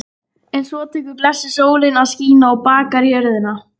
En svo tekur blessuð sólin að skína og bakar jörðina.